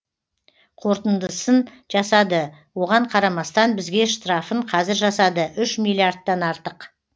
қорытындысын жасады оған қарамастан бізге штрафын кәзір жасады үш миллиардтан артық